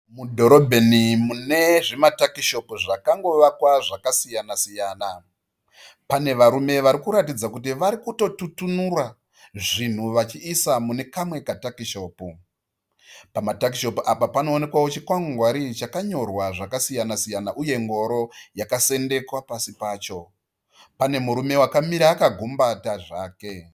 Mudhorobheni mune zvimatakishopu zvakangovakwa zvakasiyana-siyana. Pane varume varikuratidza kuti varitokututunura zvinhu vachiisa mune kamwe takishopu. Pamatakishopu apa panoonekwawo chikwangwari chakanyorwa zvakasiyana-siyana uye ngoro yakasendekwa pasi. Pane murume akamira akagumbata zvake.